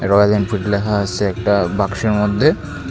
Royal Enfield লেখা আছে একটা বাক্সের মধ্যে।